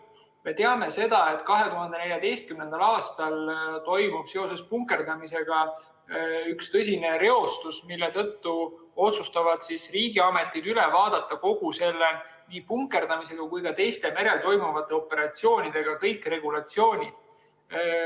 Me teame, et 2014. aastal toimus seoses punkerdamisega üks tõsine reostus, mille tõttu otsustasid riigiametid üle vaadata kõik nii punkerdamise kui ka teiste merel toimuvate operatsioonide regulatsioonid.